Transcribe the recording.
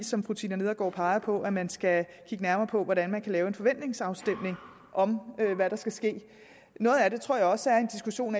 som fru tina nedergaard pegede på at man skal kigge nærmere på hvordan man kan lave en forventningsafstemning om hvad der skal ske noget af det tror jeg også er en diskussion